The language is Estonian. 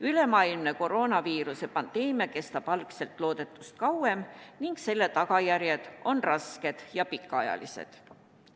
Ülemaailmne koroonaviiruse pandeemia kestab algselt loodetust kauem ning selle tagajärjed on rasked ja pikaajalised.